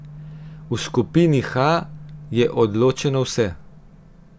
V skupini H je odločeno vse.